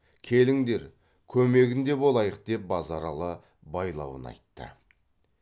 келіңдер көмегінде болайық деп базаралы байлауын айтты